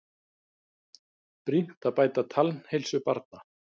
Brýnt að bæta tannheilsu barna